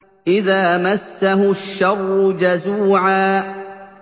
إِذَا مَسَّهُ الشَّرُّ جَزُوعًا